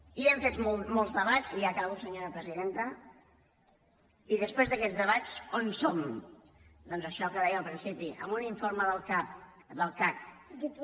i hem fet molts debats i ja acabo senyora presidenta i després d’aquests debats on som doncs a això que deia al principi amb un informe del cac que diu